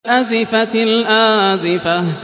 أَزِفَتِ الْآزِفَةُ